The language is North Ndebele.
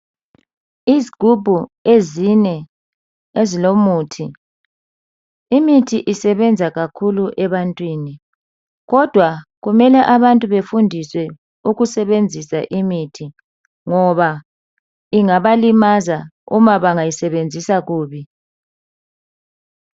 Izgubhu ezine ezilomuthi, imithi isebenza kakhulu ebantwini kodwa kumele abantu befundiswe ukusebenzisa imithi ngoba ingabalimaza uma bangayisebenzisa kubi.